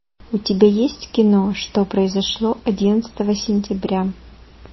у тебя есть кино что произошло одиннадцатого сентября